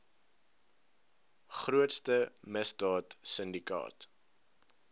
grootste misdaad sindikaat